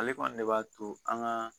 Ale kɔni de b'a to an gaa